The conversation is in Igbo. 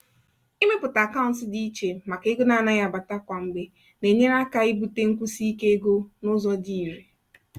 ịmepụta akaụntụ ego dị iche maka ego na-anaghị abata kwa mgbe na-enyere aka ibute nkwụsi ike ego n'ụzọ dị irè.